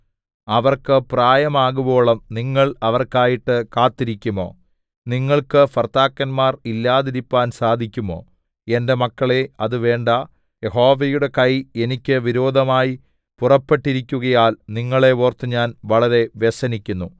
അവർക്ക് പ്രായമാകുവോളം നിങ്ങൾ അവർക്കായിട്ടു കാത്തിരിക്കുമോ നിങ്ങൾക്ക് ഭർത്താക്കന്മാർ ഇല്ലാതിരിപ്പാൻ സാധിക്കുമോ എന്റെ മക്കളേ അത് വേണ്ട യഹോവയുടെ കൈ എനിക്ക് വിരോധമായി പുറപ്പെട്ടിരിക്കുകയാൽ നിങ്ങളെ ഓർത്ത് ഞാൻ വളരെ വ്യസനിക്കുന്നു